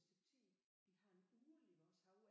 Et stykke tid vi har en ugle i vores have